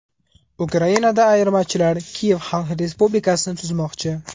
Ukrainada ayirmachilar Kiyev Xalq respublikasini tuzmoqchi.